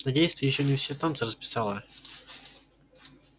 надеюсь ты ещё не все танцы расписала